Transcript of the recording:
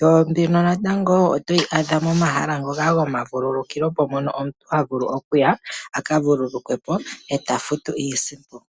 yo mbino natango wo otoyi adha momahala ngoka gomavulukukilo mpono omuntu ha vulu okuya a ka vulukwe po, e ta futu iisimpo.